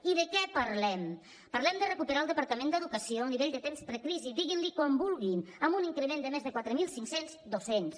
i de què parlem parlem de recuperar el departament d’educació a nivell de temps precrisi diguin ne com vulguin amb un increment de més de quatre mil cinc cents docents